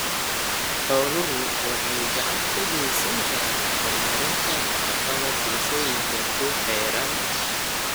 Xooluhu waxay gacan ka geysan karaan horumarinta nafaqada bulshooyinka ku xeeran.